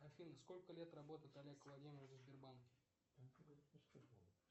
афина сколько лет работает олег владимирович в сбербанке